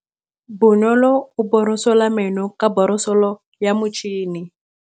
Bonolô o borosola meno ka borosolo ya motšhine.